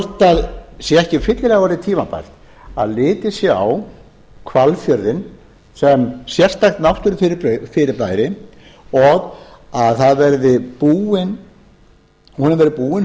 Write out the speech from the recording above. það sé ekki fyllilega orðið tímabært að litið sé á hvalfjörðinn sem sérstakt náttúrufyrirbæri og að honum verði búin